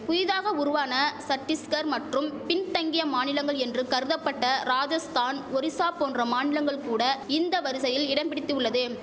புயிதாக உருவான சட்டிஸ்கர் மற்றும் பின்தங்கிய மாநிலங்கள் என்று கருதபட்ட ராஜஸ்தான் ஒரிசா போன்ற மாநிலங்கள் கூட இந்த வரிசையில் இடம் பிடித்துள்ளது